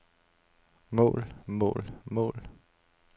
mål mål mål